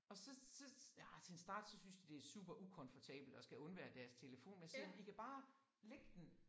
Og så så nej til en start så synes de det super ukomfortabelt at skal undvære deres telefon men så I kan bare lægge den